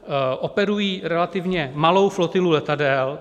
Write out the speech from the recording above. Operují relativně malou flotilu letadel.